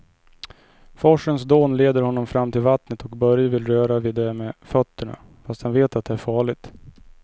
Forsens dån leder honom fram till vattnet och Börje vill röra vid det med fötterna, fast han vet att det är farligt.